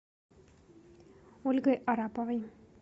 ольгой араповой